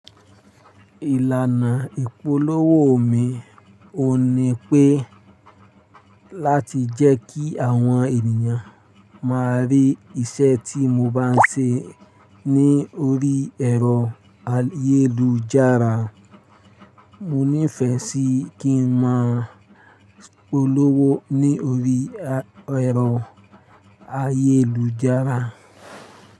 Ìlànà ìpolówó mi ò ní pé láti jẹ́ kí àwọn ènìyàn má rí iṣẹ́ tí mo bá ń ṣe ní orí ẹ̀rọ ayélujára. Mo nífẹ̀ẹ́ sí kí n máa polówó lórí ẹ̀rọ ayélujára.